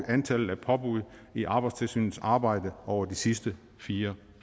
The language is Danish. antallet af påbud i arbejdstilsynets arbejde over de sidste fire